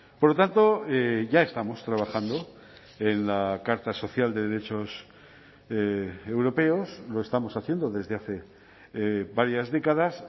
por lo tanto ya estamos trabajando en la carta social de derechos europeos lo estamos haciendo desde hace varias décadas